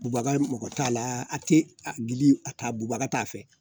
Bubaga mago t'a la a tɛ gili a ta bubaga t'a fɛ